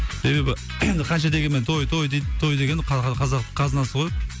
себебі қанша дегенмен той той дейді той деген қазақтың қазынасы ғой